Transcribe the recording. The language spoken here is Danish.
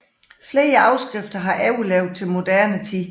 Flere afskrifter har overlevet til moderne tid